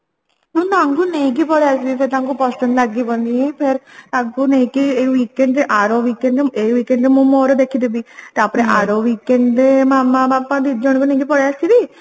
ମୁଁ ତାଙ୍କୁ ନେଇକି ପଳେଇଆସିବି ସେ ତାଙ୍କୁ ପସନ୍ଦ ଲାଗିବନି ଫେର ତାଙ୍କୁ ନେଇକି weekend ରେ ଆର weekend ରେ ଏଇ weekend ରେ ମୁଁ ମୋର ଦେଖିଦେବି ତାପରେ ଆର weekend ରେ ମାମା ବାପା ଦି ଜଣଙ୍କୁ ନେଇକି ପଳେଇ ଆସିବି